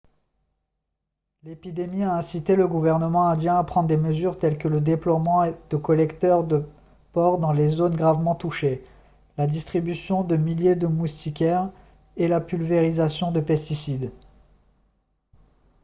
l'épidémie a incité le gouvernement indien à prendre des mesures telles que le déploiement de collecteurs de porcs dans les zones gravement touchées la distribution de milliers de moustiquaires et la pulvérisation de pesticides